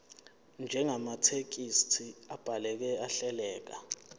njengamathekisthi abhaleke ahleleka